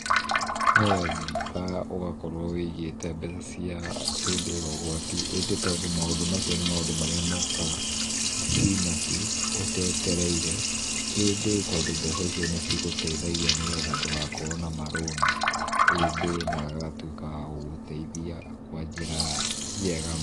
Nĩ wega ũgakorwo wĩigĩte mbeca cia hĩndĩ ya ũgwati. ĩndĩ tondũ maũndũ macio nĩ maũndũ marĩa mokaga hi na hi, ũtetereire. ĩndĩ tondũ mbeca icio nĩ cigũteithagia nĩgetha ndũgakorwo na marũni. ĩndĩ na agatuĩka wa gũgũteithia kwa njĩra ya njega.